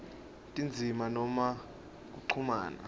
tindzima noma kuchumana